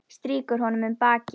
Strýkur honum um bakið.